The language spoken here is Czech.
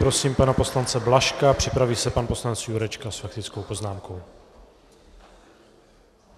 Prosím pana poslance Blažka, připraví se pan poslanec Jurečka s faktickou poznámkou.